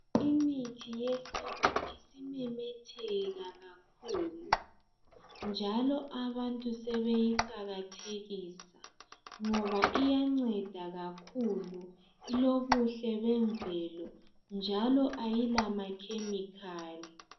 Imithi yesintu isiminengi iisimemetheka kakhulu njalo abantu sebeyiqakathekisa ngoba iyanceda kakhulu ilobuhle bemvelo njalo ayilama-chemical.